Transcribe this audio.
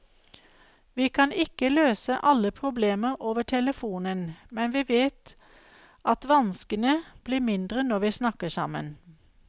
Vi kan ikke løse alle problemer over telefonen, men vi vet at vanskene blir mindre når vi snakker sammen.